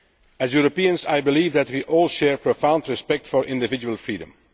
As Europeans, I believe that we all share profound respect for individual freedom.